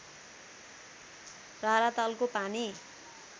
रारा तालको पानी